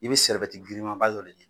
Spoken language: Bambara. I bɛ girinmanba dɔ de ɲini